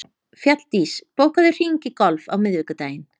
Fjalldís, bókaðu hring í golf á miðvikudaginn.